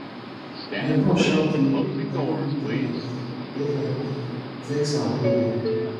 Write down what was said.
my boss shout say i no meet deadline e deadline e vex am wellwell